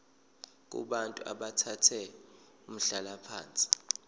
kubantu abathathe umhlalaphansi